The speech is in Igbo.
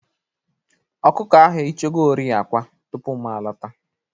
Ọkụkọ ahụ eyichagori akwa tupu m lọta.